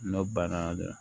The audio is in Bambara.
N'o banna dɛ